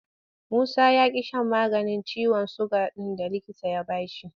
Musa ya ƙi shan maganin ciwon suga ɗin da likita ya ba shi.